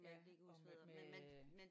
Ja og med med